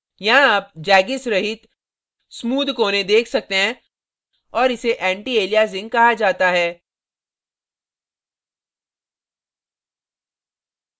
यहाँ आप jaggis रहित smooth कोने देख सकते हैं और इसे antialiasing कहा जाता है